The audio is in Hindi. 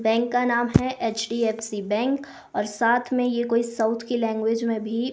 बैंक का नाम हैं एच_डी_एफ_सी बैंक और साथ में ये कोई साउथ की लैंग्वेज में भी--